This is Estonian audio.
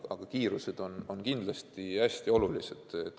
Aga kiirus on kindlasti hästi oluline.